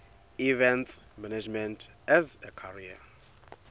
events management as a career